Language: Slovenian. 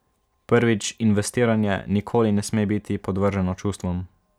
Prvič, investiranje nikoli ne sme biti podvrženo čustvom.